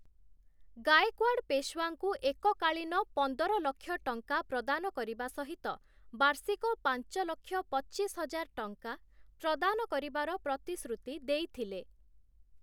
ଗାଏକ୍ୱାଡ଼ ପେଶୱାଙ୍କୁ ଏକକାଳୀନ ପନ୍ଦର ଲକ୍ଷ ଟଙ୍କା ପ୍ରଦାନ କରିବା ସହିତ ବାର୍ଷିକ ପାଞ୍ଚ ଲକ୍ଷ ପଚିଶ ହଜାର ଟଙ୍କା ପ୍ରଦାନ କରିବାର ପ୍ରତିଶ୍ରୁତି ଦେଇଥିଲେ ।